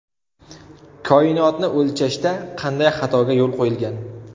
Koinotni o‘lchashda qanday xatoga yo‘l qo‘yilgan?